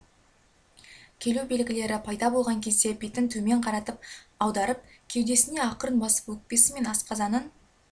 келу белгілері пайда болған кезде бетін төмен қаратып аударып кеудесіне ақырын басып өкпесі мен асқазанын